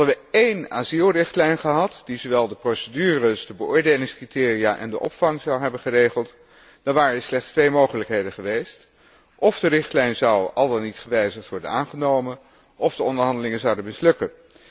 Hadden we één asielrichtlijn gehad die zowel de procedures, de beoordelingscriteria en de opvang zou hebben geregeld, dan waren er slechts twee mogelijkheden geweest òf de richtlijn zou, al dan niet gewijzigd, worden aangenomen, òf de onderhandelingen zouden mislukken.